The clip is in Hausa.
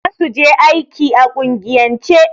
Za su je aiki a kungiyance.